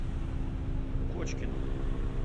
кочкину